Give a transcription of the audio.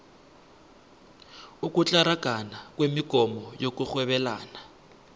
ukutlaragana kwemogomo yokurhwebelana